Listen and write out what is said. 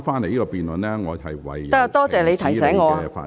可以了，多謝你提醒我。